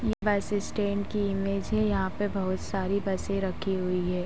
बस स्टैन्ड की इमेज है। यहाँ पे बोहोत सारी बसे रखी हुई हैं।